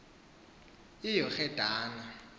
iyorhedane